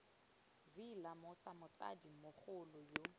v lemosa motsadi mogolo yo